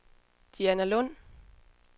Dianalund